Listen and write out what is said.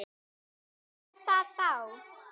Og hvað með það þá?